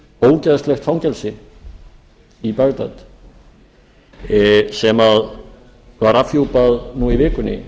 ógeðslegt fangelsi í bagdad sem var afhjúpað nú í vikunni